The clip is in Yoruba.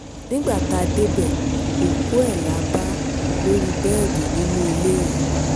nígbà tá a débẹ̀ òkú ẹ̀ la bá lórí bẹ́ẹ̀dì nínú ilé yẹn